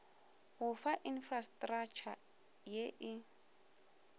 go fa infrastratšha ye e